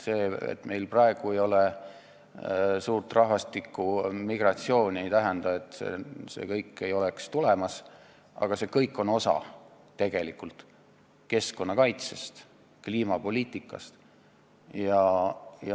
See, et meil praegu ei ole suurt migratsiooni, ei tähenda, et see ei oleks tulemas, aga see kõik on tegelikult seotud keskkonnakaitse ja kliimapoliitikaga.